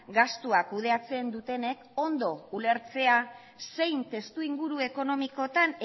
gastuak kudeatzen dutenek ondo ulertzea zein testuinguru ekonomikotan